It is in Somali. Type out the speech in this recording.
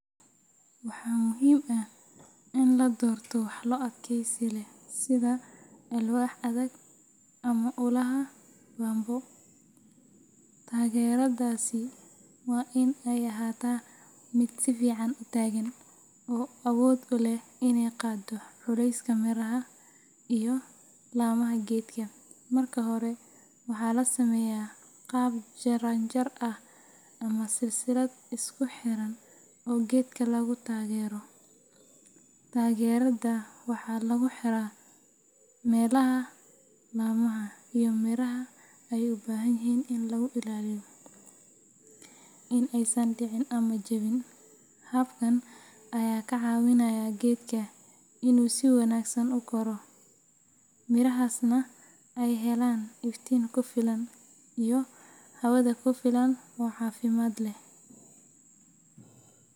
Waxaa muhiim ah in la doorto walxo adkeysi leh sida alwaax adag ama ulaha bamboo. Taageeradaasi waa in ay ahaataa mid si fiican u taagan oo awood u leh inay qaaddo culayska miraha iyo laamaha geedka. Marka hore, waxaa la sameeyaa qaab jaranjar ah ama silsilad isku xidhan oo geedka lagu taageero. Taageerada waxaa lagu xiraa meelaha laamaha iyo miraha ay u baahan yihiin in lagu ilaaliyo in aysan dhicin ama jabin. Habkan ayaa ka caawinaya geedka inuu si wanaagsan u koro, mirihiisana ay helaan iftiin ku filan iyo hawada ku filan oo caafimaad leh.